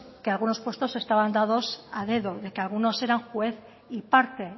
que algunos puestos estaban dados a dedo de que algunos eran juez y parte